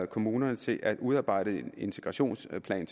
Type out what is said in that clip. kommunerne til at udarbejde en integrationsplan